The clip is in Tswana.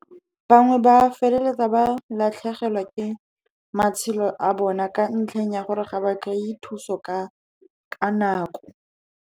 Bangwe ba feleletsa ba latlhegelwa ke matshelo a bona, ka ntlheng ya gore ga ba kry-e thuso ka nako.